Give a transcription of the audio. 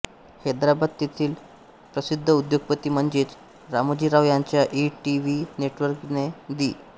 हैद्राबाद येथील प्रसिद्ध उद्योगपती म्हणजेच रामोजीराव यांच्या ई टीव्ही नेटवर्कने दि